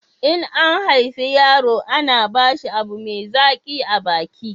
in an haife yaro ana ba shi abu mai zaƙi a baki